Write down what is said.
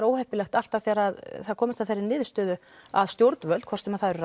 óheppilegt alltaf þegar það er komist að þeirri niðurstöðu að stjórnvöld hvort sem það eru